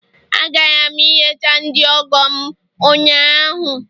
Agara m ileta ndi ọgọ m ụnyahụ